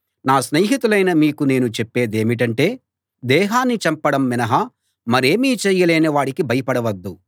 నా స్నేహితులైన మీకు నేను చెప్పేదేమిటంటే దేహాన్ని చంపడం మినహా మరేమీ చేయలేని వాడికి భయపడవద్దు